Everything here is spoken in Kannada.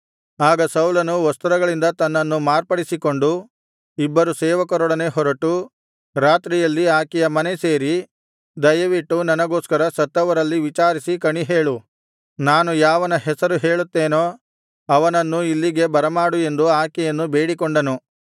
ಆಗ ಸೌಲನು ವಸ್ತ್ರಗಳಿಂದ ತನ್ನನ್ನು ಮಾರ್ಪಡಿಸಿಕೊಂಡು ಇಬ್ಬರು ಸೇವಕರೊಡನೆ ಹೊರಟು ರಾತ್ರಿಯಲ್ಲಿ ಆಕೆಯ ಮನೆ ಸೇರಿ ದಯವಿಟ್ಟು ನನಗೋಸ್ಕರ ಸತ್ತವರಲ್ಲಿ ವಿಚಾರಿಸಿ ಕಣಿಹೇಳು ನಾನು ಯಾವನ ಹೆಸರು ಹೇಳುತ್ತೇನೋ ಅವನನ್ನು ಇಲ್ಲಿಗೆ ಬರಮಾಡು ಎಂದು ಆಕೆಯನ್ನು ಬೇಡಿಕೊಂಡನು